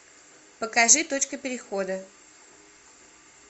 покажи точка перехода